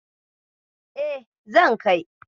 E, zan kai.